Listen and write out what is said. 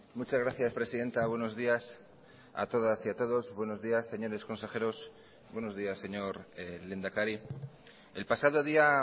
muchas gracias presidenta buenos días a todas y a todos buenos días señores consejeros buenos días señor lehendakari el pasado día